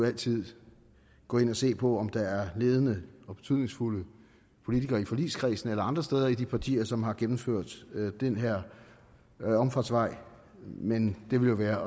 altid gå ind og se på om der er ledende og betydningsfulde politikere i forligskredsen eller andre steder i de partier som har gennemført den her omfartsvej men det ville være